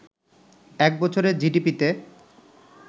এক বছরে জিডিপিতে